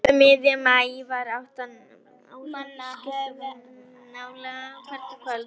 Um miðjan maí var átta manna áhöfn fullskipuð og æfði af kappi nálega hvert kvöld.